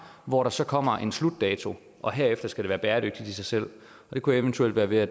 hvor der så kommer en slutdato og herefter skal det være bæredygtigt i sig selv det kunne eventuelt være ved at